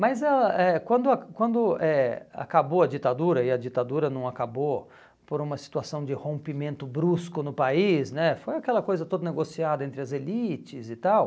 Mas ãh eh quando quando eh acabou a ditadura, e a ditadura não acabou por uma situação de rompimento brusco no país né, foi aquela coisa toda negociada entre as elites e tal.